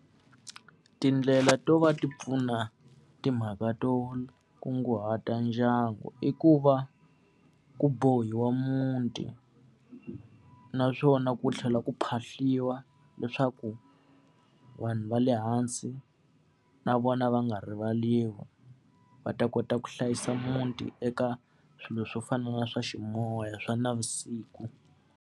Tindlela to va ti pfuna timhaka to kunguhata ndyangu i ku va ku bohiwa muti, naswona ku tlhela ku phahliwa leswaku vanhu va le hansi na vona va nga rivariwi. Va ta kota ku hlayisa muti eka swilo swo fana na swa ximoya, swa navusiku.